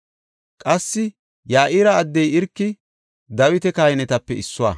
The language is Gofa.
Qassi Ya7ira addey Irki Dawita kahinetape issuwa.